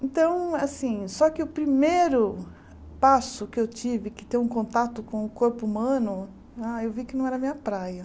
Então, assim, só que o primeiro passo que eu tive, que ter um contato com o corpo humano, ai eu vi que não era a minha praia.